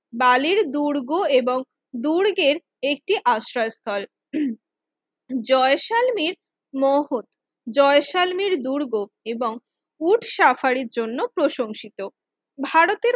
বালির দুর্গ এবং দুর্গের একটি আশ্রয় স্থল জয়সালমীর মহল জয়সালমীর দুর্গ এবং উট সাফারির জন্য প্রশংসিত ভারতের